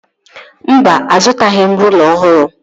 Mba, azụtaghị m rụla ọhụrụ